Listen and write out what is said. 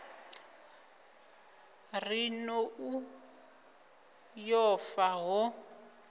ri nḓou yo fa ho